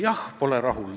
Jah, ma pole rahul.